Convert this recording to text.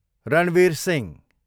Ranveer Singh